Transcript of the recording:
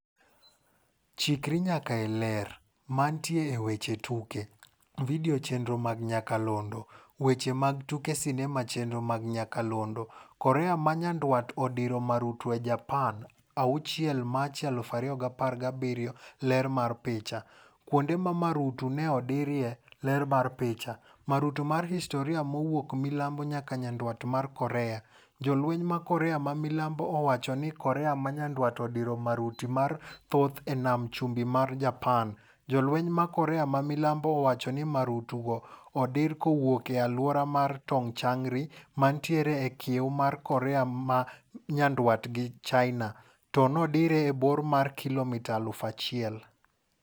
Chikri nyaka e Ler. Mantie e weche tuke. Video chenro mag nyakalondo. Weche mag tuke sinema chenro mag nyakalondo. Korea ma nyandwat odiro marutu e Japan, 6 Machi 2017 Ler mar picha. Kuonde ma marutu ne odirie. ler mar picha. Marutu mar historia mowuokmilambo nyaka nyandwat mar Korea .Jolweny ma Korea ma milambo owacho ni Korea ma nyandwat odiro maruti mar mathoth e nam chumbi mar Japan, Jolweny mar Korea ma milambo owacho ni marutu go odir kowuok e aluora mar Tongchang-ri mantiere e kiew mar Korea ma nyandwat gi China to nodire e bor mar kilomita elfu achiel.